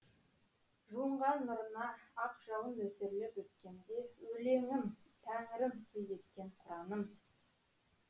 жуынған нұрына ақ жауын нөсерлеп өткенде өлеңім тәңірім сый еткен құраным